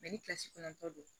ni kilasi kɔnɔntɔ don